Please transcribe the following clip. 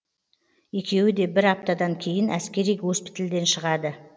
екеуі де бір аптадан кейін әскери госпитальден шығады